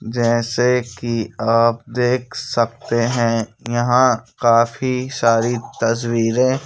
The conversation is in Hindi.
जैसे कि आप देख सकते हैं यहां काफी सारी तस्वीरें--